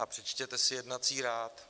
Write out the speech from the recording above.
A přečtěte si jednací řád.